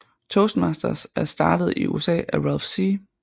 Toastmasters er startet i USA af Ralph C